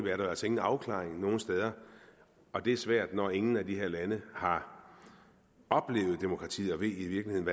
er der altså ingen afklaring nogen steder og det er svært når ingen af de her lande har oplevet demokrati og i virkeligheden